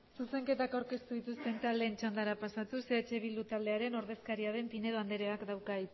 zuzenketak aurkeztu dituzten taldeen txandara pasatuz eh bildu taldearen ordezkaria den pinedo andereak dauka